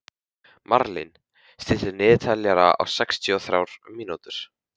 Marlín, stilltu niðurteljara á sextíu og þrjár mínútur.